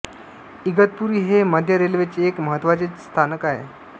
इगतपुरी हे मध्य रेल्वेचे एक महत्त्वाचे स्थानक आहे